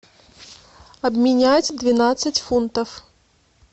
обменять двенадцать фунтов